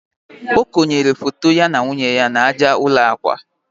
o konyere foto ya na nwunye ya n'aja ụlọ akwa